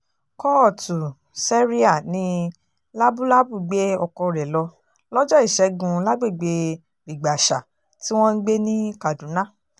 kóòtù séríà ní lábúbábù gbé ọkọ rẹ̀ lọ lọ́jọ́ ìṣẹ́gun lágbègbè rìgbàṣà tí wọ́n ń gbé ní kaduna